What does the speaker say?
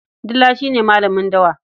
Dila shi ne malamin dawa.